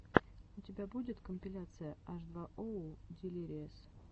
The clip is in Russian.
у тебя будет компиляция аш два оу дилириэс